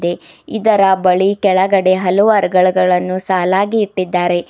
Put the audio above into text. ಇದರ ಬಳಿ ಕೆಳಗಡೆ ಹಲವಾರು ಗಳನ್ನು ಸಲಾಗಿ ಇಟ್ಟಿದ್ದಾರೆ.